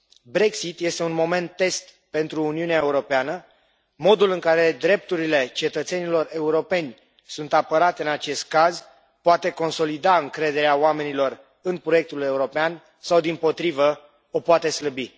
Brexit este un moment test pentru Uniunea Europeană, iar modul în care drepturile cetățenilor europeni sunt apărate în acest caz poate consolida încrederea oamenilor în proiectul european sau, dimpotrivă, o poate slăbi.